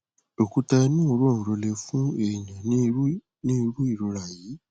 òkúta inú òróǹro lè fún èèyàn ní irú ní irú ìrora yìí